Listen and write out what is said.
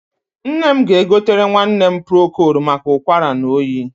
Nne m ga-egotere nwanne m prokold maka ụkwara na oyi.